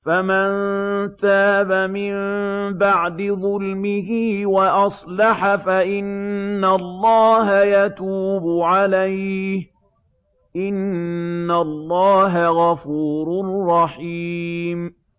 فَمَن تَابَ مِن بَعْدِ ظُلْمِهِ وَأَصْلَحَ فَإِنَّ اللَّهَ يَتُوبُ عَلَيْهِ ۗ إِنَّ اللَّهَ غَفُورٌ رَّحِيمٌ